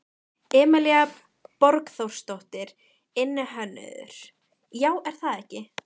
Emilía Borgþórsdóttir, iðnhönnuður: Já, er það ekki?